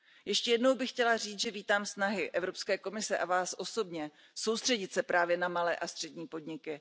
Ještě jednou bych chtěla říci, že vítám snahy Evropské komise a Vás osobně soustředit se právě na malé a střední podniky.